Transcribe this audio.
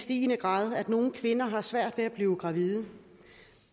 i stigende grad at nogle kvinder har svært ved at blive gravide